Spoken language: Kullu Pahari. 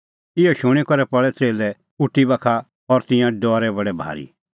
इहअ शूणीं करै पल़ै च़ेल्लै उटी बाखा और तिंयां डरै बडै भारी